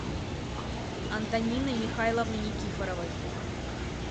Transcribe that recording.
антонины михайловны никифоровой